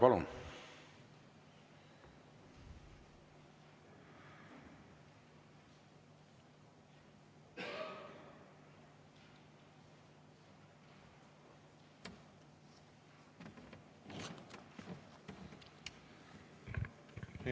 Palun!